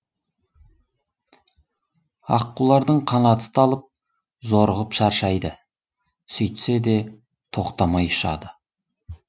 аққулардың қанаты талып зорығып шаршайды сөйтсе де тоқтамай ұшады